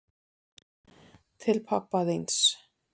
Til pabba þíns.